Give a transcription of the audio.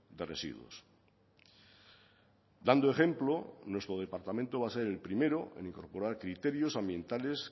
de residuos dando ejemplo nuestro departamento va a ser el primero en incorporar criterios ambientales